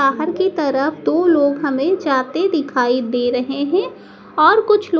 बाहर की तरफ दो लोग हमें जाते दिखाई दे रहे हैं और कुछ लो--